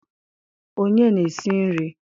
Onye na-esi nri?